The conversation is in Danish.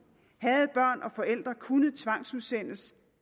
havde børn og forældre kunnet tvangsudsendes